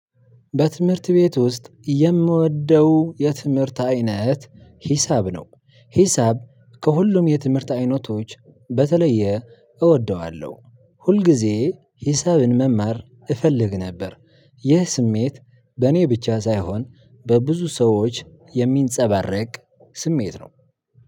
በትምህርት ቤት ውስጥ የምወደው የትምህርት አይነት ሂሳብ ነው። ሂሳብ ከሁሉም የትምህርት አይነቶች በተለየ እወደዋለሁ። ሁልጊዜ ሂሳብን መማር እፈልግ ነበር። ይህ ስሜት በእኔ ብቻ ሳይሆን በብዙ ሰዎች የሚንጸባረቅ ስሜት ነው።